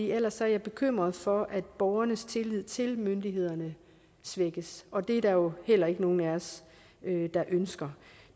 ellers er jeg bekymret for at borgernes tillid til myndighederne svækkes og det er der jo heller ikke nogen af os der ønsker